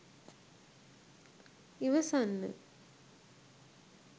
ඉවසන්න